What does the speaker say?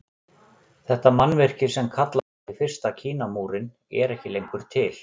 Þetta mannvirki sem kalla mætti fyrsta Kínamúrinn er ekki lengur til.